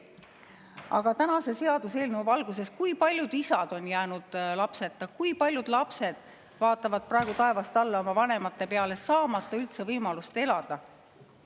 Aga tänase seaduseelnõu valguses: kui paljud isad on jäänud lapseta või kui paljud lapsed vaatavad praegu taevast alla oma vanemate peale, saamata üldse võimalust elada?